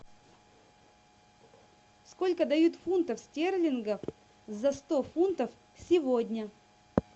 сколько дают фунтов стерлингов за сто фунтов сегодня